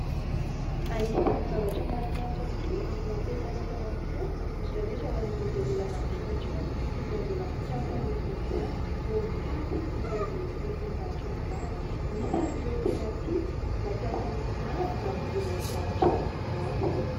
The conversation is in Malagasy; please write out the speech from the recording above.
Anisany zavatra mahafinaritra tokoa ary mampientanentana ny fo indrindra indrindra ho an'ireo izay izay olona mahavita trano sy izay mbola mikasa hanorina izany no mitady izay mety ho lokon'izany trano izany. Misy ary ireo tena tia mampiasa loko maro mba hanaingoana izany trano izany.